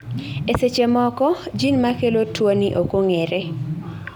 e seche moko, jin makelo tuoni ok ong'ere